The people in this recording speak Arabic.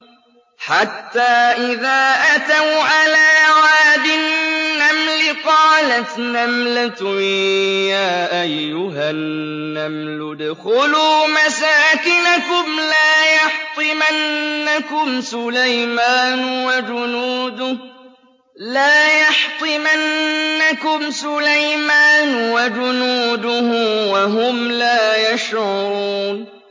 حَتَّىٰ إِذَا أَتَوْا عَلَىٰ وَادِ النَّمْلِ قَالَتْ نَمْلَةٌ يَا أَيُّهَا النَّمْلُ ادْخُلُوا مَسَاكِنَكُمْ لَا يَحْطِمَنَّكُمْ سُلَيْمَانُ وَجُنُودُهُ وَهُمْ لَا يَشْعُرُونَ